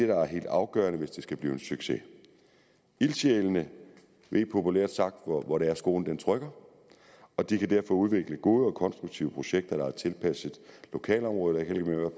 der er helt afgørende hvis det skal blive en succes ildsjælene ved populært sagt hvor det er skoen trykker og de kan derfor udvikle gode og konstruktive projekter der er tilpasset lokalområdet